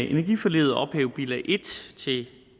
i energiforliget at ophæve bilag en til